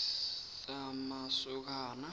semasokani